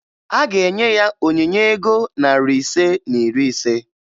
A ga-enye ya onyinye ego narị ise na iri ise